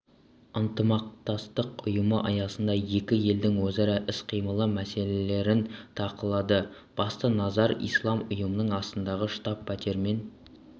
ынтымақтастық ұйымы аясындағы екі елдің өзара іс-қимылы мәселелерін талқылады басты назар ислам ұйымының астанадағы штаб-пәтерімен